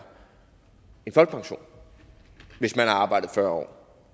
en folkepension hvis man har arbejdet fyrre